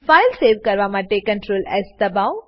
file save કરવા માટે Ctrl S દબાઓ